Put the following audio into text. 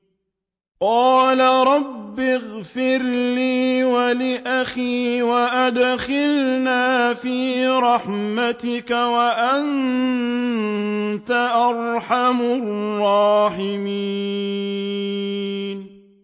قَالَ رَبِّ اغْفِرْ لِي وَلِأَخِي وَأَدْخِلْنَا فِي رَحْمَتِكَ ۖ وَأَنتَ أَرْحَمُ الرَّاحِمِينَ